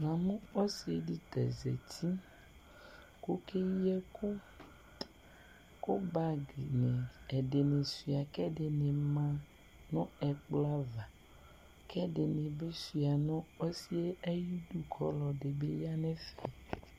Namʋ ɔsidi kʋ ɔzati kʋ okeyi ɛkʋ kʋ bagi ɛdini suia kʋ ɛdini ma nʋ ɛkplɔ ava kʋ ɛdini bi suia nʋ ɔsi yɛ ayʋ idʋ kʋ ɔlɔdi yanʋ ɛfɛ